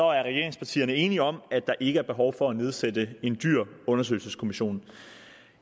regeringspartierne enige om at der ikke er behov for at nedsætte en dyr undersøgelseskommission